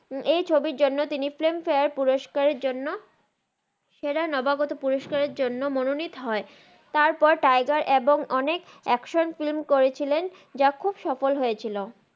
এই ছবির জন্য তিনি ফিল্ম ফারে পুরুস্কারের জন্য সেরা নাবা গত পুরুস্ক্রাররের জন্য মন নিত হন তার পর তিগের অনেক অ্যাকশান ফিল্ম করেছিলেন জা খুব সফল হয়েছিল